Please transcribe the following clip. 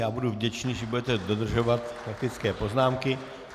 Já budu vděčný, že budete dodržovat faktické poznámky.